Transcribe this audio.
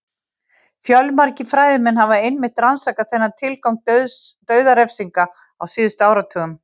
Fjölmargir fræðimenn hafa einmitt rannsakað þennan tilgang dauðarefsinga á síðustu áratugum.